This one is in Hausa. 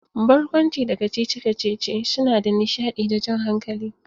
Barkwanci da kacici-kacici suna da nishadi da jan hankali.